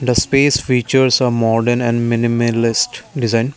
the space features of modern and minimalist design.